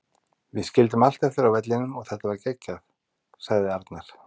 Við skildum allt eftir á vellinum og þetta var geggjað, sagði Arnar.